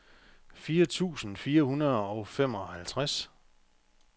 fire tusind fire hundrede og femoghalvtreds